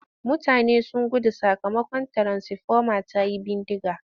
Mutane sun gudu sakamakon tiransifoma ta yi bindiga.